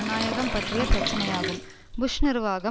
பற்றிய பிரச்சனையாகும்புஷ் நிர்வாகம் இரகசியமாக